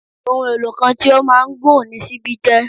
Ohun-èlò kan tí ó máa ń gùn ni ṣíbí jẹ́